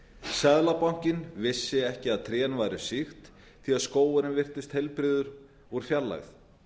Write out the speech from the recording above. seðlabankinn vissi ekki að trén væru sýkt því skógurinn virtist heilbrigður úr fjarlægð